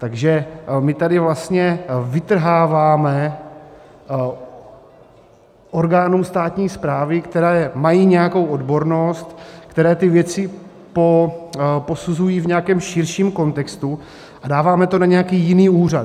Takže my tady vlastně vytrháváme orgánům státní správy, které mají nějakou odbornost, které ty věci posuzují v nějakém širším kontextu, a dáváme to na nějaký jiný úřad.